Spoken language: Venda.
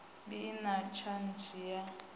bi i na tshadzhi ya